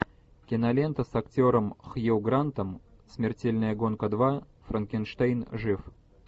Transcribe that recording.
кинолента с актером хью грантом смертельная гонка два франкенштейн жив